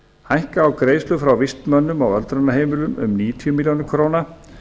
hækka á greiðslur frá vistmönnum á öldrunarheimilum um níutíu milljónir króna